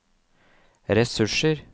ressurser